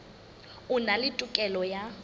a na le tokelo ya